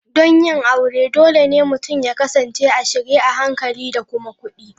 Don yin aure, dole ne mutum ya kasance a shirye a hankali da kuma kudi.